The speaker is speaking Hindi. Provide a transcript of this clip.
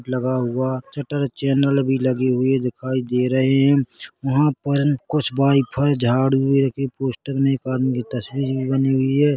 लगा हुआ चटर चैनल भी लगी हुई दिखाई दे रहे हैं वहाँ पर कुछ वाय फाय झाड़ भी रखें पोस्टर में एक आदमी तस्वीर भी बनी हुई हैं।